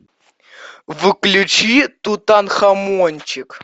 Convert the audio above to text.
включи тутанхамончик